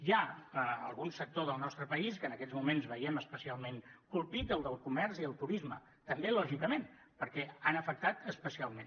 hi ha algun sector del nostre país que en aquests moments veiem especialment colpit el del comerç i el turisme també lògicament perquè han afectat especialment